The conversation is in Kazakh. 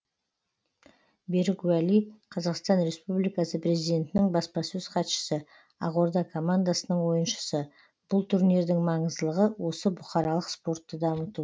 берік уәли қазақстан республикасы президентінің баспасөз хатшысы ақорда командасының ойыншысы бұл турнирдің маңыздылығы осы бұқаралық спортты дамыту